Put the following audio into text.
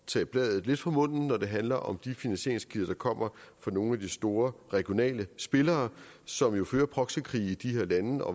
tage bladet lidt fra munden når det handler om de finansieringskilder der kommer fra nogle af de store regionale spillere som jo fører proxykrige i de her lande